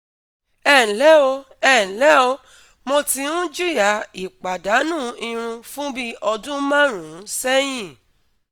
Ẹ ǹlẹ́ o, Ẹ ǹlẹ́ o, mo tí ń jìyà ìpàdánù irun fún bí ọdún márùn-ún sẹ́yìn